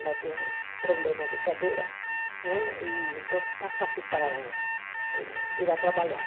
Ela tem um problema de cadeira né, então está fácil para ela ir trabalhar.